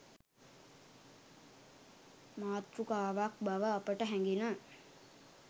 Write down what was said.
මාතෘකාවක් බව අපට හැඟිණ.